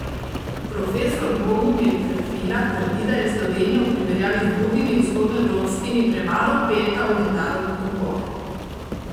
Profesor Bogomil Ferfila trdi, da je Slovenija v primerjavi z drugimi vzhodnoevropskimi premalo vpeta v mednarodne tokove.